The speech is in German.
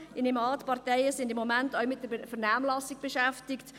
Ich nehme an, die Parteien sind im Moment auch mit der Vernehmlassung beschäftigt.